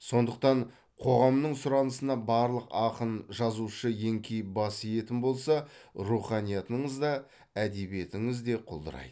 сондықтан қоғамның сұранысына барлық ақын жазушы еңкейіп бас иетін болса руханиятыңыз да әдебиетіңіз де құлдырайды